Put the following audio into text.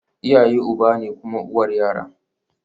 Iyaye uba ne kuma uwar yara